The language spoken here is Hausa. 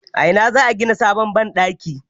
A ina za a gina sabon banɗaki?